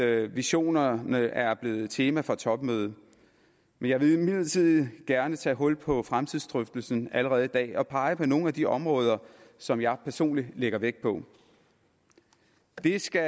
visionerne er blevet et tema for topmødet men jeg vil imidlertid gerne tage hul på fremtidsdrøftelsen allerede i dag og pege på nogle af de områder som jeg personlig lægger vægt på det skal